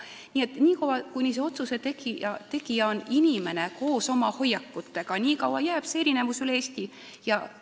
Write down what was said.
Nii et nii kaua, kuni see otsuse tegija on inimene koos oma hoiakutega, nii kaua jäävad need erinevused üle Eesti alles.